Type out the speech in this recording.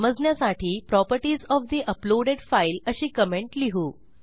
समजण्यासाठी properties of the uploaded file अशी comment लिहू